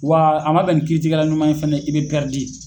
Wa a ma bɛn ni kiiritigɛla ɲuman ye fana i bɛ .